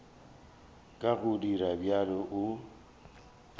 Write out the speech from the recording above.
ka go dira bjalo o